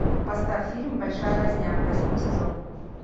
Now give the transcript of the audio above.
поставь фильм большая возня восьмой сезон